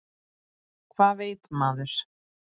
Hvað veit maður?